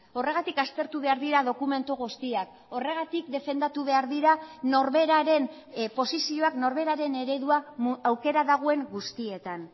horregatik aztertu behar dira dokumentu guztiak horregatik defendatu behar dira norberaren posizioak norberaren eredua aukera dagoen guztietan